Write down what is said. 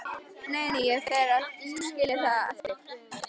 Nei, nei, ég fer ekki að skilja það eftir.